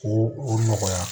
O o nɔgɔya